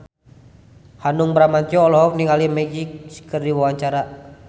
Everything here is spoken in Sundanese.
Hanung Bramantyo olohok ningali Magic keur diwawancara